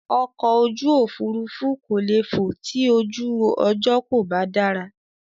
Ọkọ̀ ojú òfurufú kò le fò ti ojú ọjọ́ kò bá dára.